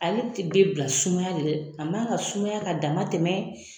Ale te be bila sumaya de la. A man ka sumaya ka dama tɛmɛ